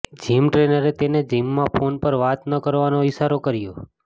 gym ટ્રેનરે તેને જિમમાં ફોન પર વાત ન કરવાનો ઈશારો કર્યો